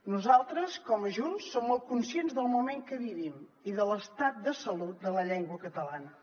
nosaltres com a junts som molt conscients del moment que vivim i de l’estat de salut de la llengua catalana